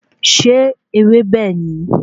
Ṣé ewébẹ̀ ni?